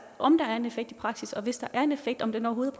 om der er en effekt i praksis og hvis der er en effekt om den overhovedet